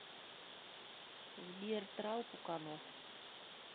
сбер трал пуканов